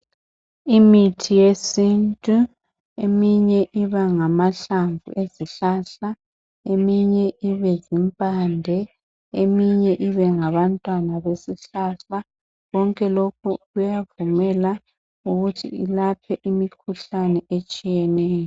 Imithi yesintu eminye iba ngamahlamvu ezihlahla eminye ibe zimpande eminye ibe ngabantwana besihlahla konke lokhu kuyavumela ukuthi ilaphe imikhuhlane etshiyeneyo.